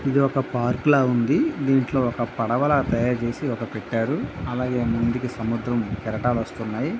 ఇది ఒక పార్క్ లాగా ఉన్నది. దీంట్లో ఒక పడవలాగా తాయారుచేసి ఒకటి పెట్టారు. అలాగే ముందుకి సముద్ర కెరటాలు వస్తున్నాయి.